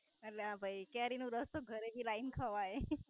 આલિયા ભઈ. કેરી નો રસ જ ઘરે થી લાવી ને ખવાય.